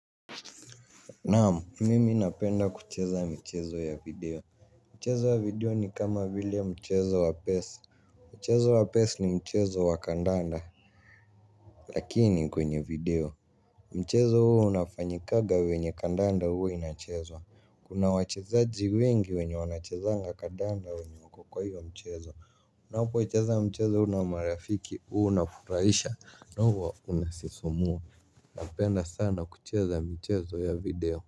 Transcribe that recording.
Naam mimi napenda kucheza mchezo ya video. Mchezo wa video ni kama vile mchezo wa pesa. Mchezo wa pes ni mchezo wa kandanda lakini kwenye vidoe mchezo huo inafanyikagavenye kandanda huwa kuchezwa, kuna wachezaji wengi wenye wachezanga kandanda wenye wako kwa hyo mchezi. Na ukiwahi cheza mchezo huu na marafiki huwa unafurahisha ama inasisimua. Napenda sana kucheza michezo ya video.